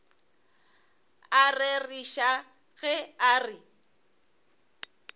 a rereša ge a re